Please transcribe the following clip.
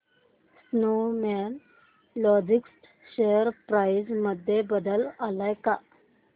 Snowman Logistics share price मध्ये बदल आलाय का